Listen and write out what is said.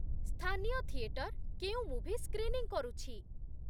ସ୍ଥାନୀୟ ଥିଏଟର କେଉଁ movie screening କରୁଛି ?